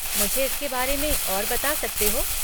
मुझे इसके बारे में और बता सकते हो?